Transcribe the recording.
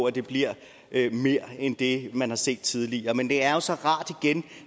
at det bliver mere end det man har set tidligere men det er jo så rart igen